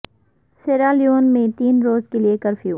سیرا Leone میں تین روز کے لیے کرفیو